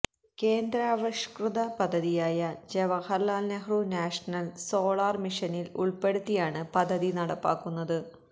കേന്ദ്രാവിഷ്കൃത പദ്ധതിയായ Jawaharlal Nehru national solar മിഷനില് ഉള്പ്പെടുത്തിയാണ് പദ്ധതി നടപ്പാക്കുന്നത്